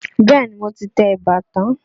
Bẹ́ẹ̀ni, mo ti tẹ eba tán.